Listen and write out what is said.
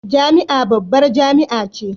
Jami'a babbar jami'a ce